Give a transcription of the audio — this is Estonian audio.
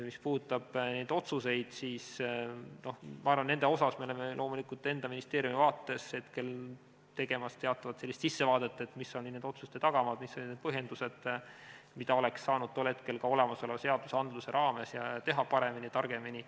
Mis puudutab neid otsuseid, siis ma arvan, et me teeme loomulikult enda ministeeriumi vaates hetkel teatavat sellist sissevaadet, et mis olid nende otsuste tagamaad, mis olid need põhjendused, mida oleks saanud tol hetkel ka olemasolevate seaduste raames teha paremini ja targemini.